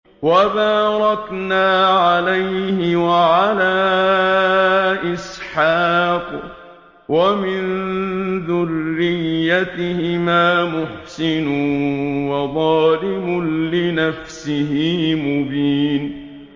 وَبَارَكْنَا عَلَيْهِ وَعَلَىٰ إِسْحَاقَ ۚ وَمِن ذُرِّيَّتِهِمَا مُحْسِنٌ وَظَالِمٌ لِّنَفْسِهِ مُبِينٌ